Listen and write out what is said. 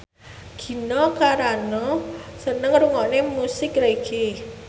Gina Carano seneng ngrungokne musik reggae